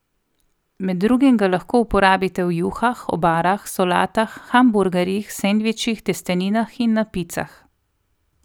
Med drugim ga lahko uporabite v juhah, obarah, solatah, hamburgerjih, sendvičih, testeninah in na picah.